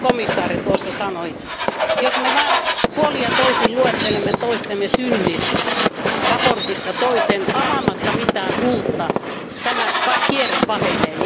Aivan kuin komissaari tuossa sanoi, jos me vain puolin ja toisin luettelemme toistemme synnit mietinnöstä toiseen avaamatta mitään uutta, tämä kierre pahenee.